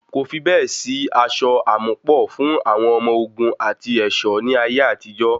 Kò fi bẹ́ẹ̀ sí aṣọ àmúpọ̀ fún àwọn ọmọ ogun àti ẹ̀ṣọ́ ní ayé àtijó.